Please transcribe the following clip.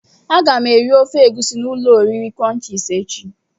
Aga m eri ofe egusi na ulo oriri crunches echi.